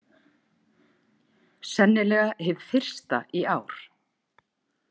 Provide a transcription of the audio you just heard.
Sennilega hið fyrsta í ár.